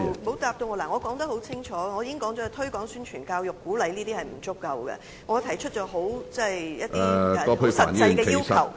我剛才清楚指出，空談推廣、宣傳、教育和鼓勵等並不足夠，並提出了多項很實際的要求。